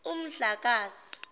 umdlakazi